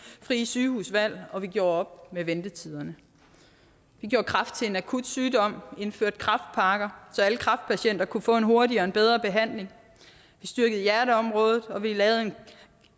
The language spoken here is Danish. frie sygehusvalg og vi gjorde op med ventetiderne vi gjorde kræft til en akutsygdom indførte kræftpakker så alle kræftpatienter kunne få en hurtigere og bedre behandling vi styrkede hjerteområdet og vi lavede